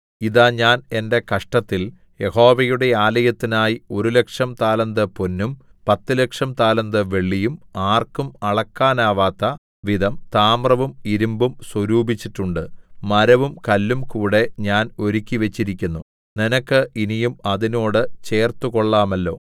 ഇതാ ഞാൻ എന്റെ കഷ്ടത്തിൽ യഹോവയുടെ ആലയത്തിനായി ഒരു ലക്ഷം താലന്ത് പൊന്നും പത്തുലക്ഷം താലന്ത് വെള്ളിയും ആർക്കും അളക്കാനാവാത്ത വിധം താമ്രവും ഇരിമ്പും സ്വരൂപിച്ചിട്ടുണ്ടു മരവും കല്ലും കൂടെ ഞാൻ ഒരുക്കിവെച്ചിരിക്കുന്നു നിനക്ക് ഇനിയും അതിനോട് ചേർത്തുകൊള്ളാമല്ലോ